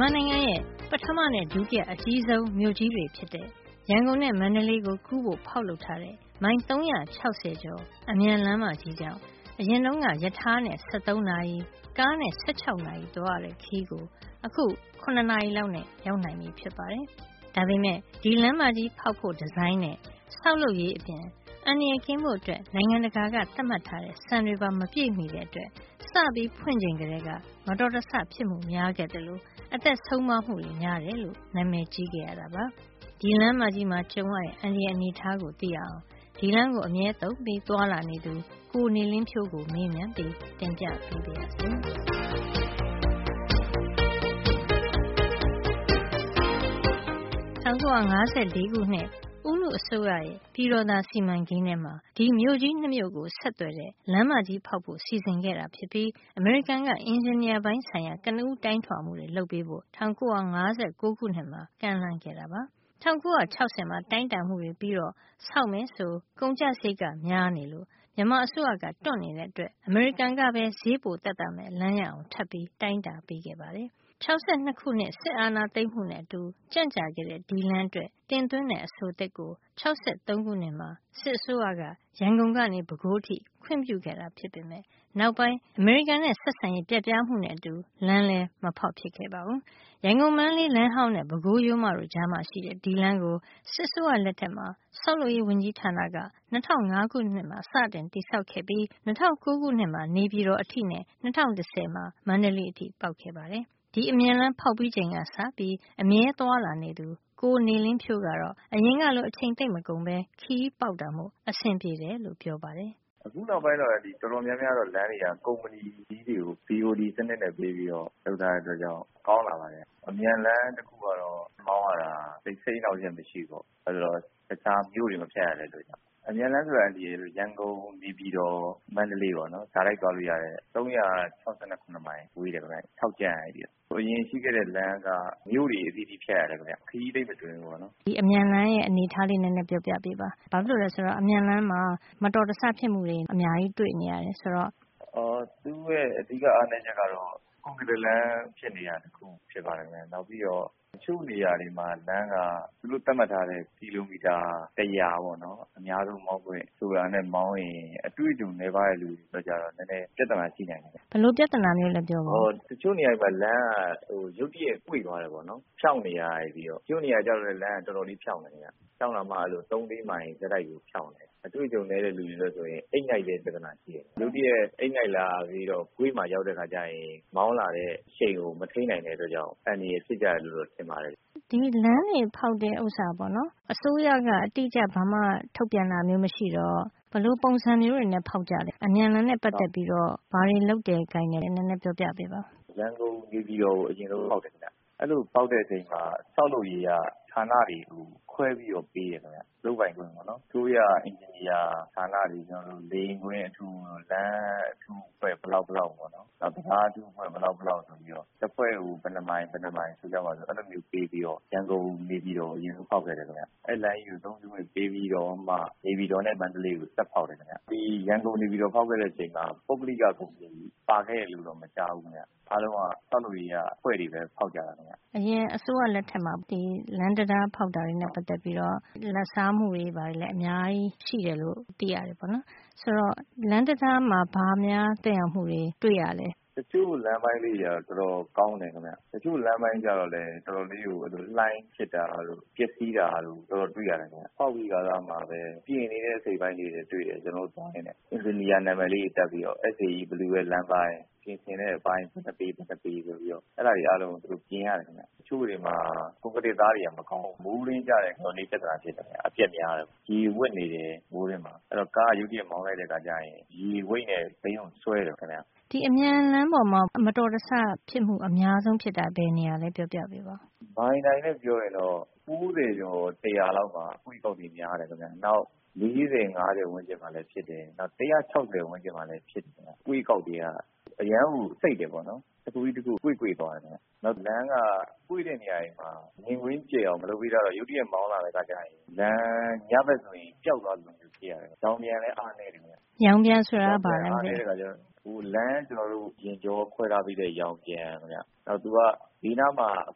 မာနိုင်ငံရဲ့ ပထမနဲ့ ဒုတိယအကြီးဆုံး မြို့ကြီးတွေ ဖြစ်တဲ့ ရန်ကုန်နဲ့ မန္တလေးကို ကူးဖို့ ဖေါက်လုပ် ထားတဲ့ မိုင် ၃၆၀ ကျော် အမြန်လမ်းမကြီးှ ကြောင့် အရင်က ရထားနဲ့ ၁၃ နာရီ ကားနဲ့၁၆ နာရီ သွားရတဲ့ ခရီးကို အခု ၇ နာရီလောက်နဲ့ ရောက်နိုင်ပြီဖြစ်ပါတယ်။ ဒါပေမယ့် ဒီလမ်းမကြီးဖေါက်ဖို့ ဒီဇိုင်းနဲ့ လမ်းဆောက်လုပ်ရေးအပြင် အန္တရာယ်ကင်းဖို့အတွက် နိုင်ငံတကာသတ်မှတ်စံတွေပါ မပြည့်မှီတဲ့အတွက် စဖွင့်ချိန်ကတည်းက မတော်တဆ ဖြစ်မှုများခဲ့သလို အသက်ဆုံးပါးမှုတွေ များတယ်လို့ နံမယ်ကြီးခဲ့ရပါတယ်။ ဒီလမ်းမကြီးမှာ ကြုံရတဲ့ အန္တရာယ်အနေထားကို သိရအောင် ဒီလမ်းကို အမြဲသုံးပြီး သွားလာနေသူ၊ ကိုယ်တိုင်လည်း လမ်းဖေါက်လုပ်ရေး လုပ်ငန်း လုပ်ကိုင်ဘူးသူတဦး ဖြစ်တဲ့ ကိုနေလင်းဖြိုးကို မေးမြန်းပြီး တင်ပြပေးပါရစေ။ ၁၉၅၄ ခုနှစ် ဦးနုအစိုးရရဲ့ ပြည်တော်သာစီမံကိန်းထဲမှာ ဒီ မြို့ကြီး ၂ မြို့ကို ဆက်သွယ်တဲ့ လမ်းမကြီးဖေါက်ဖို့စီစဉ်ခဲ့တာဖြစ်ပြီး အမေရိကန်က အင်ဂျင်နီယာပိုင်း ဆိုင်ရာ ကနဦး တိုင်းထွာမှုတွေ လုပ်ပေးဖို့ ၁၉၅၉ ခုနှစ်မှာ ကမ်းလှမ်းခဲ့တာပါ။ ၁၉၆၀မှာ တိုင်းတာမှုတွေ ပြီးတော့ ဆောက်မယ်ဆို ကုန်ကျစားရိတ်က များနေလို့ မြန်မာအစိုးရကတွန့်နေတဲ့အတွက် အမေရိကန်ကပဲ ဈေးပိုသက်သာမယ့် လမ်းရအောင် ထပ်ပြီးတိုင်းတာပေးခဲ့ပါတယ်။ ၆၂ ခုနှစ် စစ်အာဏာ သိမ်းမှုနဲ့ အတူ ကျန့်ကြာခဲ့တဲ့ ဒီလမ်းအတွက် တင်သွင်းတဲ့ အဆိုသစ်ကို ၆၃ မှာ စစ်အစိုးရက ရန်ကုန်ကနေ ပဲခူးအထိ ခွင့်ပြုခဲ့တာဖြစ်ပေမယ့် နောက်ပိုင်း အမေရိကန်နဲ့ ဆက်ဆံရေး ပျက်ပြားမှုနဲ့အတူ လမ်းလည်း မဖေါက်ဖြစ်ခဲ့ပါဘူး။ ရန်ကုန် မန္တလေးလမ်းဟောင်းနဲ့ ပခိုးရိုးမတို့ကြားမှာ ရှိတဲ့ ဒီလမ်းကို စစ်အစိုးရလက်ထက်မှာ ဆောက်လုပ်ရေးဝန်ကြီးဌာနက ၂၀၀၅ ခုမှာ စတင်တည်ဆောက်ခဲ့ပြီး ၂၀၀၉ မှာ နေပြည်တော်အထိနဲ့ ၂၀၁၀ မှာ မန္တလေး အထိပေါက်ခဲ့တာပါ။ ဒီအမြန်လမ်းဖေါက်ပြီးချိန်ကစပြီး အမြဲသွားလာနေသူ ကိုနေလင်းဖြိုးကတော့ အရင်ကလို အချိန်သိပ်မကုန်ပဲ ခရီးပေါက်တာမို့ အဆင်ပြေတယ်လို့ ပြောပါတယ်။ “အခုနောက်ပိုင်းတော့ တော်တော်များများ လမ်းတွေကို ကုမ္ပဏီကြီးတွေကို BOD စံနစ်နဲ့ ပေးပြီးတော့ ဆောက်တာမို့ ကောင်းလာပါတယ် ခင်ဗျ။ အမြန်လမ်းတခုကတော့ မောင်းရတာ သိပ် စိတ်အနှောက်အယှက် မရှိဘူး။ ဘာလို့လဲ ဆိုတော့ တခြား မြို့တွေကို မဖြတ်ရတဲ့အတွက်ပါ။ အမြန်လမ်းဆိုတာက ရန်ကုန်- နေပြည်တော်- မန္တလေး တိုက်ရိုက်သွားလို့ ရတယ်၊ ၃၆၇ မိုင်ဝေးတယ်ခင်ဗျ။ ထောက်ကြံ့ကနေ။ ဟိုအရင် လမ်းတုန်းက မြို့တွေ အတော်များများကို ဖြတ်ရတယ်။ ခရီးသိပ်မတွင်ဘူးပေါ့နော်” ဒီအမြန်လမ်းရဲ့ အနေထားလေး နဲနဲ ပြောပြပေးပါ။ အမြန်လမ်းမှာ မတော်တဆ ဖြစ်မှုတွေ အများကြီး တွေ့နေရတယ် ဆိုတော့။ “သူ့ရဲ့ အဓိက အားနဲချက်ကတော့ ကွန်ကရစ်လမ်း ဖြစ်နေတာတခု ဖြစ်ပါတယ်ခင်ဗျ။ နောက်ပြီးတော့ တချို့နေရာတွေမှာ လမ်းက သူတို့သတ်မှတ်ထားတဲ့ ကီလိုမီတာ တရာ အများဆုံး မောင်းခွင့် ဆိုတာနဲ့ မောင်းရင် အတွေ့အကြုံ နဲပါးတဲ့ လူအတွက်ကျတော့ ပြဿနာရှိနိုင်တယ်ခင်ဗျ” ဘယ်လိုပြဿနာမျိုးလဲ ပြောပြပါ။ “အော် တချို့နေရာတွေမှာ ဆိုပါတော့ လမ်းက ရုတ်တရက် ကွေ့သွားတယ် ပေါ့နော်။ ဖြောင့်နေရာကနေပြီးတော့။ တချို့နေရာက လမ်းက တော်တော် ဖြောင့်တယ်။ ဖြောင့်တာမှ ၃- ၄ မိုင် ဆက်တိုက်ကို ဖြောင့်တာ။ အတွေ့အကြုံ နဲတဲ့ လူတွေနဲ့ဆို အိပ်ငိုက်တဲ့ ပြဿနာရှိတယ်။ ရုတ်တရက် အိပ်ငိုက်လာ ပြီးတော့ ကွေ့မှာရောက်တဲ့ အခါ ကျရင် မောင်းလာတဲ့ အရှိန်ကို မထိမ်းနိုင် တဲ့အတွက်ကြောင့် အန္တရာယ် ဖြစ်ကြတယ်လို့ ထင်ပါတယ်” ဒီလမ်းတွေဖေါက်တဲ့ နေရာမှာ အစိုးရက ဘာမှ အတိအကျ ထုတ်ပြန်တာမျိုး မရှိတော့၊ ဘယ်လို ပုံစံမျိုး တွေနဲ့ ဖေါက်ကြတာတွေ့တယ်၊ အမြန်လမ်းနဲ့ ပတ်သက်ပြီး ဘာတွေ လုပ်တယ် ကိုင်တယ် ဆိုတာလေးတွေ ပြောပြပေးပါ။ “ရန်ကုန်- နေပြည်တော်ကို အရင်ဆုံး ဖေါက်တယ်ခင်ဗျ။ အဲဒီလို ဖေါက်တဲ့ အချိန်မှာ ဆောက်လုပ်ရေး က ဌာနတွေကို လုပ်ပိုင်ခွင့် ခွဲပြီးတော့ ပေးတယ် ခင်ဗျ။ အစိုးရ အင်ဂျင်နီယာ ဌာနတွေနဲ့ လေယာဉ်ကွင်း အထူး၊ လမ်းအထူးအဖွဲ့ ဘယ်လောက်ဘယ်လောက်ပေါ့။ နောက် တံတားအထူးအဖွဲ့ ဘယ်လောက်ဘယ်လောက် ဆိုပြီးတော့ပေါ့။ တဖွဲ့ကို ဘယ်နှစ်မိုင်၊ ဘယ်နှစ်မိုင် အဲဒီလို ပေးပြီးတော့ ရန်ကုန်- နေပြည်တော်ကို အရင်ဆုံး ဖေါက်ခဲ့တယ် ခင်ဗျ။ အဲဒီလမ်းကြီးကို သုံးခွင့် ပေးပြီးတော့မှ နေုပြည်တော်နဲ့ မန္တလေးကို ဆက်ဖေါက်တယ် ခင်ဗျ။ ဒီရန်ကုန်- နေပြည်တော် ဖေါက်ခဲ့တဲ့ အချိန်က ပုဂ္ဂလိက ကုမ္ပဏီ ပါခဲ့တယ် လို့တော့ မကြားဘူး ခင်ဗျ။ အားလုံးက ဆောက်လုပ်ရေးက အဖွဲ့တွေပဲ ဖေါက်ကြတာ ခင်ဗျ” အရင်အစိုးရ လက်ထက်မှာ လမ်းတံတား ဖေါက်တာတွေနဲ့ ပတ်သက်ပြီးတော့ အဂတိ လိုက်စားမှုတွေ များတယ်လို့ နံမယ်ကြီးပါတယ်။ ဆိုတော့ ဒီလမ်းမှာ ဘာတွေများ သက်ရောက်မှုတွေ တွေ့ရလဲ။ “တချို့လမ်းပိုင်းလေးတွေက တော်တော် ကောင်းတယ်ခင်ဗျ။ တချို့လမ်းပိုင်း ကြတော့လည်း တော်တော်လေးကို လှိုင်းဖြစ်တာတို့၊ ပျက်စီးတာတို့ တော်တော် တွေ့ရတယ် ခင်ဗျ။ ဆောက်ပြီးခါစ မှာပဲ ပြင်နေတဲ့ အစိတ်အပိုင်းလေးတွေ တွေ့တယ်၊ ကျွန်တော်တို့ သွားရင်းနဲ့။ အင်ဂျင်နီယာ နံမယ်လေးတွေ တပ်ပြီးတော့ SAE ဘယ်သူ ရဲ့ လမ်းပိုင်း၊ ပြင်ဆင်တဲ့အပိုင်း ဘယ်နှစ်ပေ ဘယ်နှစ်ပေ ဆိုပြီးတော့၊ အဲဒါတွေ အားလုံးကို သူတို့ ပြင်ရတယ် ခင်ဗျ။ တချို့တွေမှာ ကွန်ကရစ်သားတွေက မကောင်းဘူး။ မိုးတွင်းကျရင် တော်တော်လေး ပြဿနာ ဖြစ်တယ်ခင်ဗျ။ တော်တော် အပျက်များတယ်။ ရေဝပ်နေတယ် မိုးတွင်းမှာ။ အဲဒီတော့ ကားက ရုတ်တရက် မောင်းလိုက်တဲ့ အခါကျရင် ရေဝိတ်နဲ့ ဘီးကို ဆွဲတယ်ခင်ဗျ” ဒီအမြန်လမ်းပေါ်မှာ မတော်တဆ ဖြစ်မှု အများဆုံး ဖြစ်တာ ဘယ်နေရာလဲ ပြောပြပေးပါ။ “မိုင်တိုင်နဲ့ ပြောရင်တော့ ၉ ၀ ကျော် ၁၀၀ လောက်မှာ အကွေ့အကောက်တွေ အတော်လေးကို များတယ် ခင်ဗျ။ နောက် ၄၀ နဲ့ ၅၀ ဝန်းကျင်မှာလည်း ဖြစ်တယ်။ နောက် ၁၆၀ ဝန်းကျင်မှာလည်း ဖြစ်တယ် ခင်ဗျ။ အကွေ့အကောက် တွေက အရမ်းကို စိပ်တယ်ပေါ့နော်။ တခုပြီးတခုကို ကွေ့ကွေ့ သွားတယ် ခင်ဗျ။ နောက် လမ်းက ကွေ့တဲ့ နေရာတွေမှာ မြင်ကွင်းကျယ်အောင် လုပ်မပေးထားတဲ့ အခါကျတော့ ရုတ်တရက် မောင်းလာရင်း လမ်းကညဘက် ဆိုရင် ပျောက်သွားသလို ဖြစ်နေတယ်။ ရောင်ပြန်လည်း အားနဲတယ် ခင်ဗျ” ရောင်ပြန် ဆိုတာ ဘာပါလဲ။ “လမ်း ယာဉ်ကြော ခွဲထားပေးတဲ့ ရောင်ပြန်ခင်ဗျ။ နောက် သူက ဘေးနားမှာ အ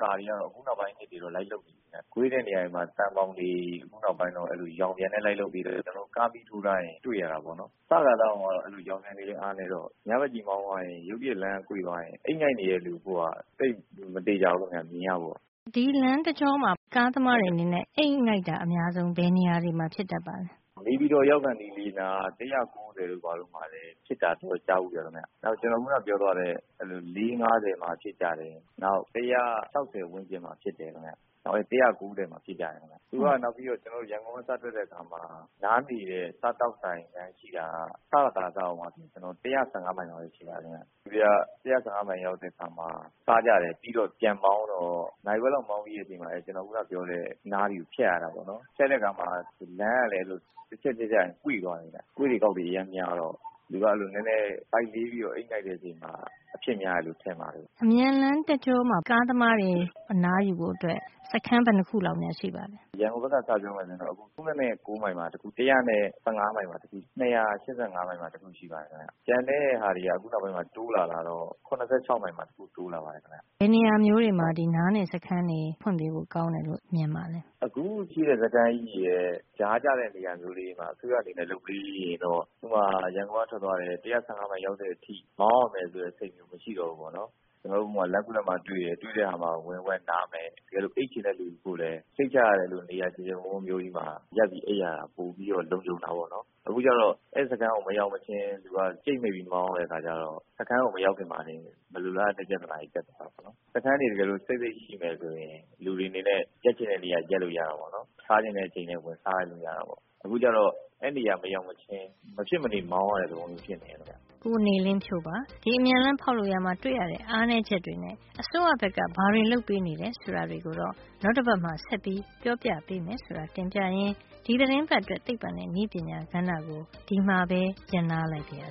ကာတွေ ကတော့ အခုနောက်ပိုင်း နှစ်တွေမှာ တော့ လိုက်လုပ်ပေး နေပြီခင်ဗျ။ ကွေ့တဲ့ နေရာတွေမှာ သံဘောင်တွေ ခုနောက်ပိုင်းမှာရော နောက် ရောင်ပြန်တွေ လိုက်လုပ်ပေးနေပါပြီ။ အဲတော့ ကားမီးထိုးထားရင် တွေ့ရတာ ပေါ့နော်။ စခါစ တုန်းကတော့ အဲဒီလို ညဘက်ကြီး မောင်းသွားရင် ရောင်ပြန်တွေ ကလည်း အားနဲတော့ ရုတ်တရက်ကြီး ကွေ့လိုက်ရင် အိပ်ငိုက်နေတဲ့ လူအဖို့က သိပ်မသေချာဘူး ခင်ဗျ။ မြင်ရဖို့” ဒီလမ်းတကျောမှာ ကားသမားတွေ အနေနဲ့ အိပ်ငိုက်တာ အများဆုံး ဘယ်နေရာတွေမှာ ဖြစ်တတ်ပါလဲ။ နေပြည်တော် ရောက်ခါနီး လေးနား ၁၀၉ မိုင်တို့ မှာ ဖြစ်တာ ကြားဘူးတယ် ခင်ဗျ။ နောက် ခုနပြောတဲ့ မိုင်တိုင် ၄ - ၅၀ မှာ ဖြစ်ကြတယ်။ နောက် ၁၆၀ ဝန်းကျင်မှာ ဖြစ်တတ်တယ်။ နောက်ပြီး ၁၉ ၀ မှာလည်း ဖြစ်တတ်တယ် ခင်ဗျ။ ပြီးတော့ ရန်ကုန်က စထွက်ထွက်ပြီး နောက် နားနေတဲ့ နေရာ မိုင်တရာကျော်၊ စခါစတုန်းက ကျွန်တော်တို့ ၁၀၅ မိုင် ရောက်တဲ့ အခါ စားကြတယ်။ ပြီးတော့ ပြန်မောင်းတော့ နာရီဝက်လောက် မောင်းပြီးချိန်မှာ စောစောက ကျွန်တော် ပြောတဲ့ နားတွေ ဖြတ်ရတာပေါ့နော်။ ဖြတ်တဲ့ အခါ လမ်းကလည်း တချက် တချက်ကျရင် ကွေ့သွားတယ် ခင်ဗျ။ အကွေ့အကောက်တွေက အတော် များတော့ ဘိုက်လေးပြီး အိပ်ငိုက် သွားတယ် ထင်ပါတယ်” ဒီအမြန်လမ်း တကျောမှာ ကားသမားတွေ အနားယူဖို့ အတွက် စခန်း ဘယ်နှစ်ခု လောက်များ ရှိပါသလဲ။ “ရန်ကုန်ဘက်က ပြောရင်တော့ ၃၉ မိုင်မှာတခု၊ နောက် ၁၁၅ မိုင်မှာနဲ့ ၂၈၅ မိုင် မှာ တခု ရှိပါတယ် ခင်ဗျ။ ကျန်တဲ့ ဟာတွေက ခုနောက်ပိုင်းမှာ တိုးလာတာ ကတော့ ၇၆ မိုင်မှာ တခုတိုးလာပါတယ်” ဘယ်နေရာမျိုးတွေမှာ နားနေစခန်းတွေ ဖွင့်ပေးဖို့ ကောင်းမယ်လို့ ထင်ပါသလဲ။ “အခု ရှိတဲ့ စခန်းတွေရဲ့ ကြားကျတဲ့ နေရာမျိုးတွေမှာ အစိုးရ အနေနဲ့ လုပ်ပေးရင်တော့။ ဥပမာ ရန်ကုန်က ထွက်သွားတယ်။ ၁၀၅ မိုင် ရောက်တဲ့ အထိ မောင်းရမယ် ဆိုတဲ့ စိတ် မရှိတော့ဘူးပေါ့နော်။ ကျွန်တော်တို့ လမ်းခုလပ်မှာ တွေ့တယ်၊ တွေ့တဲ့ အခါ ဝင်နားမယ်။ တကယ်လို့ အိပ်ချင်တဲ့ အခါလည်း၊ စိတ်ချရတဲ့ နေရာ ကျယ်ကျယ် ဝန်းဝန်း မျိုးကြီးမှာ ဝင်ပြီး အိပ်ရတာက နဲနဲ လုံခြုံ တာ ပေါ့နော်။ အခုတော့ အဲဒီ စခန်းကို မရောက်မချင်း လူက ကြိတ်မှိတ်ပြီး မောင်းရတဲ့ အခါ ကျတော့ စခန်းကို မရောက်ခင် မလိုလား အပ်တဲ့ ပြဿနာတွေ တက်ကုန်တာ ပေါ့နော်။ စခန်းတွေ တကယ်လို့စိပ်စိပ် ရှိမယ် ဆိုရင် လူတွေ အနေနဲ့ ရပ်ချင်တဲ့ နေရာ ရပ်လို့ရတာပေါ့။ စားချင်တဲ့ အချိန်လည်း ဝင်စားလို့ ရတာပေါ့။ အခုကျတော့ အဲ့နေရာ မရောက်မချင်း မဖြစ်မနေ မောင်းရတဲ့ သဘောမျိုး ဖြစ်နေတယ် ခင်ဗျ” ကိုနေလင်းဖြိုးပါ။ ဒီအမြန်လမ်းဖေါက်လုပ်ရာမှာ တွေ့ရတဲ့ အားနဲချက်တွေနဲ့ အစိုးရဘက်က ဘာတွေလုပ်ပေးနေတယ်ဆိုတာ တွေကိုတော့ နောက်တပတ်မှာ ဆက်ပြီး ပြောပြပေးမယ် ဆိုတာ တင်ပြရင်း ဒီသီတင်းပတ်အတွက် သိပ္ပံနဲ့နည်းပညာကဏ္ဍကို ဒီမှာပဲ ရပ်နား လိုက်ပါရစ